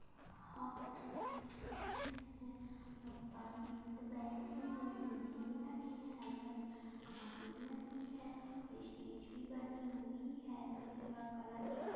हां हां दो लड़के बैठे हैं बहुत सारी भीड़ बैठी हुई। डीजे भी रखी है। हरी-हरी घास भी लगी है। स्टेज भी बनी हुई है। सफेद कलर का कलर पुता --